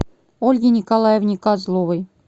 ольге николаевне козловой